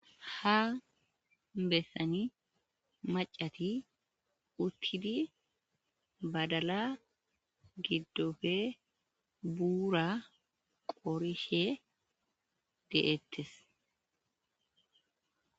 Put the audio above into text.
ha bessani maacati uttidi badala giddofe buura qorishe deettes.